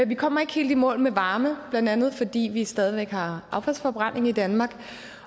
vi kommer ikke helt i mål med varme blandt andet fordi vi stadig væk har affaldsforbrænding i danmark